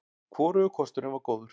Hvorugur kosturinn var góður.